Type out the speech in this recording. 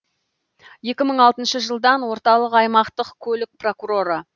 екі мың алтыншы жылдан орталық аймақтық көлік прокуроры